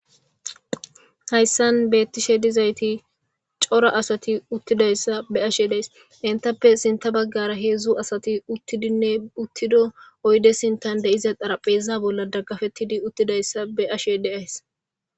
Hayssan beettishe dizayti cora asati uttidayssa be ashe deys intappe sinta baggara heedzdzu asati uttidinne uttido oyde sintan deiza arapheza bolla daggafettidi uttidayssa be ashe deays.